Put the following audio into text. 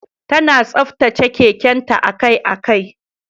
Tana tsaftace keken ta akai-akai.